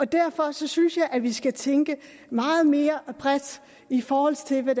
derfor synes jeg vi skal tænke meget mere bredt i forhold til hvad